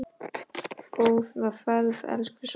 Góða ferð, elsku Svana.